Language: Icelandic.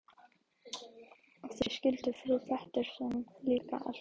Og þá skildi frú Pettersson líka allt.